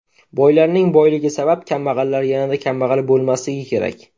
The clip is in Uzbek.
Boylarning boyligi sabab kambag‘allar yanada kambag‘al bo‘lmasligi kerak.